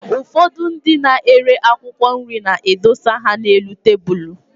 Ụfọdụ ndị na-ere akwụkwọ nri na-edosa ha n'elu tabụlụ.